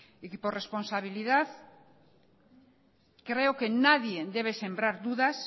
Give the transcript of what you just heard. y por responsabilidad creo que nadie debe sembrar dudas